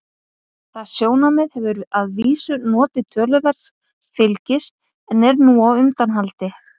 Það sjónarmið hefur að vísu notið töluverðs fylgis en er nú á undanhaldi.